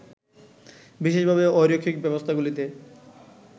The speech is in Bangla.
বিশেষভাবে, অরৈখিক ব্যবস্থাগুলিতে